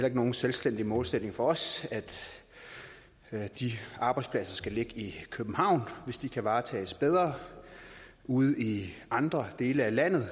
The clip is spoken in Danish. ikke nogen selvstændig målsætning for os at de arbejdspladser skal ligge i københavn hvis de kan varetages bedre ude i andre dele af landet